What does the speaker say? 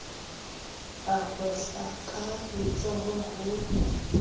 a hwehla ka letsoho ho